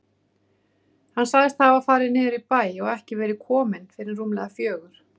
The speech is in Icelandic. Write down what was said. Hann sagðist hafa farið niður í bæ og ekki verið kominn fyrr en rúmlega fjögur.